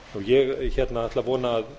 ég ætla að vona að